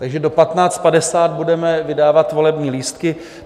Takže do 15.50 budeme vydávat volební lístky.